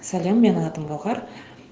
сәлем менің атым гауһар